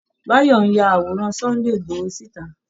Báyọ̀ ń ya àworan Sunday ìgboho síta